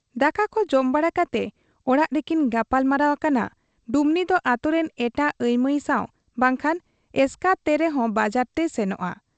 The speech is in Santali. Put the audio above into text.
ᱫᱟᱠᱟᱠᱚ ᱡᱚᱢ ᱵᱟᱲᱟ ᱠᱟᱛᱮ ᱚᱲᱟᱜ ᱨᱮᱠᱤᱱ ᱜᱟᱯᱟᱞ ᱢᱟᱨᱟᱣ ᱟᱠᱟᱱᱟ ᱰᱩᱢᱱᱤᱫᱚ ᱟᱹᱛᱩᱨᱮᱱ ᱮᱴᱟᱜ ᱟᱹᱭᱢᱟᱹᱭ ᱥᱟᱶ ᱵᱟᱝᱠᱷᱟᱱ ᱮᱥᱠᱟᱨ ᱛᱮᱨᱮᱦᱚᱸ ᱵᱟᱡᱟᱨ ᱛᱮᱭ ᱥᱮᱱᱚᱜ ᱟ ᱾